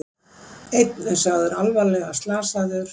Einn er sagður alvarlega slasaður